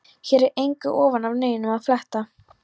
Hér er engu ofan af neinum að fletta.